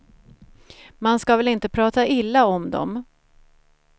Man ska väl inte prata illa om dom.